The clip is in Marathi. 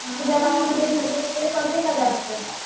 तुझ्या गावामध्ये थंडी वगैरे पडते का जास्त?